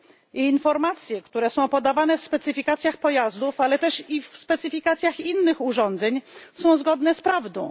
I informacje, które są podawane w specyfikacjach pojazdów, ale też i w specyfikacjach innych urządzeń, są zgodne z prawdą.